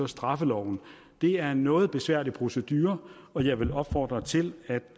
straffeloven det er en noget besværlig procedure og jeg vil opfordre til at